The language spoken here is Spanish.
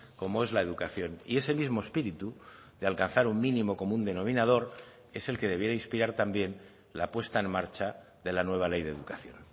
como es la educación y ese mismo espíritu de alcanzar un mínimo común denominador es el que debiera inspirar también la puesta en marcha de la nueva ley de educación